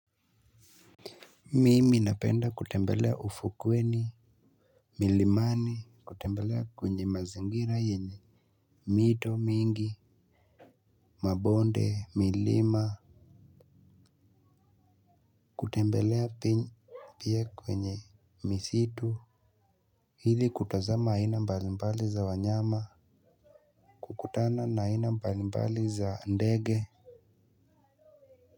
Mimi napenda kutembelea ufukweni. Milimani kutembelea kwenye mazingira yenye mito mingi mabonde milima. Kutembelea pia kwenye Misitu. Hili kutazama haina mbalimbali za wanyama. Kukutana na haina mbalimbali za ndege.